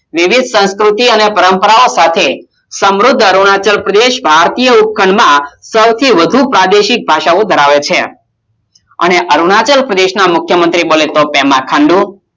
વિવિધ સંસ્કૃતિ અને પરંપરાઓ સાથે સમૃધ અરુણાચલ પ્રદેશ ભારતીય ઉપખંડમાં સૌથી વધુ પ્રાદેશિક ભાષાઓ ધરાવે છે અને અરુણાચલ પ્રદેશના મુખ્યમંત્રી બોલે તો પ્રેમા ખાંડું